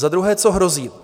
Za druhé, co hrozí.